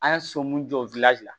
An ye so mun jɔ la